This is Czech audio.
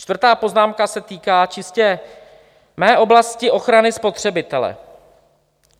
Čtvrtá poznámka se týká čistě mé oblasti - ochrany spotřebitele.